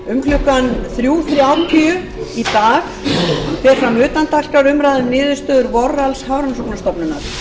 um klukkan fimmtán þrjátíu í dag fer fram utandagskrárumræða um niðurstöður warrenshornstofnunar